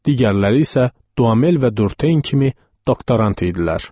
Digərləri isə Doumel və Durtein kimi doktorant idilər.